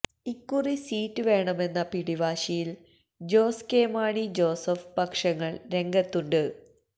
ഇക്കുറി സീറ്റ് വേണമെന്ന പിടിവാശിയിൽ ജോസ് കെ മാണി ജോസഫ് പക്ഷങ്ങൾ രംഗത്തുണ്ട്